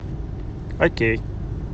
окей